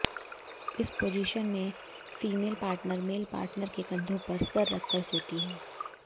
इस पोजीशन में female partner male partner के कंधों पर सिर रखकर सोती है